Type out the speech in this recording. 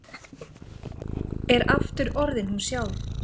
Er aftur orðin hún sjálf.